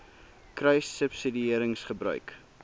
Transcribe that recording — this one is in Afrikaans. kruissubsidiëringgebruik